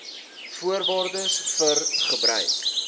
voorwaardes vir gebruik